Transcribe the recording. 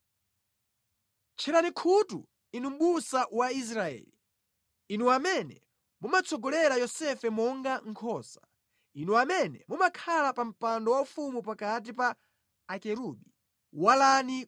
Tcherani khutu Inu mʼbusa wa Israeli, Inu amene mumatsogolera Yosefe monga nkhosa; Inu amene mumakhala pa mpando waufumu pakati pa akerubi, walani